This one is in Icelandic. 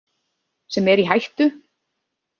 Sem er í hættu?